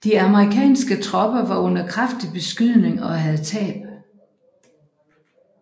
De amerikanske tropper var under kraftig beskydning og havde tab